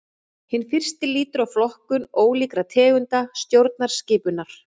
Hinn fyrsti lýtur að flokkun ólíkra tegunda stjórnskipunar.